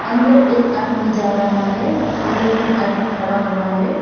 अंदर एक आदमी जा रहा है अंदर तीन आदमी खड़ा हुआ है।